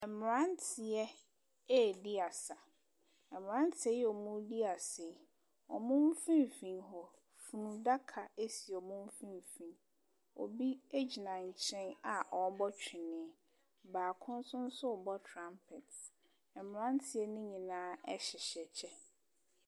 Mmranteɛ edi asa. Mmranteɛ yi a ɔmo di asa yi, ɔmo mfimfini hɔ, funuadaka esi ɔmo mfimfini. Obi egyina nkyɛn a ɔbɔ twene. Baako nso so bɔ trampɛt. Mmranteɛ nyinaa ɛhyehyɛ kyɛ.